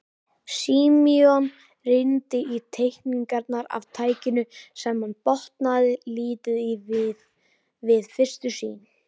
Símon rýndi í teikningarnar af tækinu sem hann botnaði lítið í við fyrstu sýn.